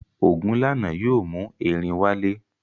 Ogunlana yóò mú erin wálé.